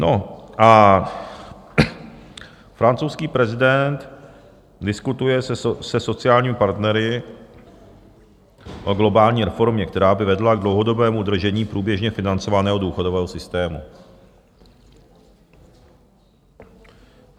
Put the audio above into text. No a francouzský prezident diskutuje se sociálními partnery o globální reformě, která by vedla k dlouhodobému udržení průběžně financovaného důchodového systému.